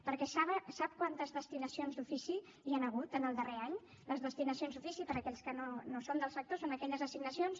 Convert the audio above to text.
perquè sap quantes destinacions d’ofici hi han hagut en el darrer any les destinacions d’ofici per a aquells que no són del sector són aquelles assignacions